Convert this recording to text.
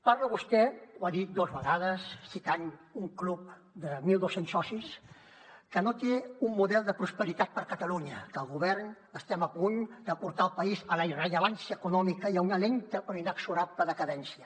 parla vostè ho ha dit dos vegades citant un club de mil dos cents socis que no té un model de prosperitat per a catalunya que el govern estem a punt de portar el país a la irrellevància econòmica i a una lenta però inexorable decadència